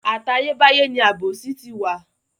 Àtayé báyé ni àbòsí ti wà.